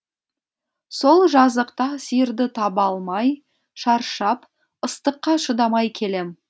сол жазықта сиырды таба алмай шаршап ыстыққа шыдамай келем